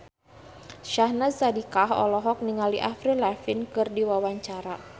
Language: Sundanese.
Syahnaz Sadiqah olohok ningali Avril Lavigne keur diwawancara